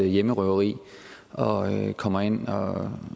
hjemmerøveri og kommer ind og